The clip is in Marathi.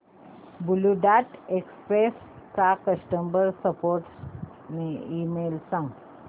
ब्ल्यु डार्ट एक्सप्रेस चा कस्टमर सपोर्ट ईमेल सांग